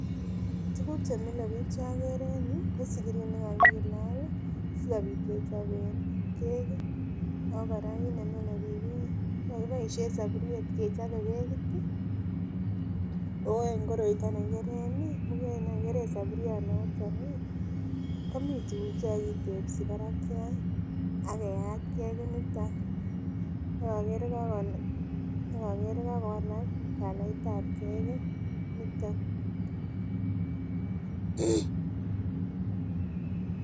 Tuguk chemile biik chokere en yuu kosikiri nekakilal sikobit kechoben kekit ako kora kit nemile biik ih kokokiboisien soburiet kechobe kekit ih oh en koroniton nekikeren ih muket nekikeren soburionoton ih komii tuguk chekokitebsi barakiat ak keyat kekit niton ak okere kokowalak calait ab kekeit niton